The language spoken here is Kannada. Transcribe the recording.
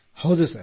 ಹೌದು ಸರ್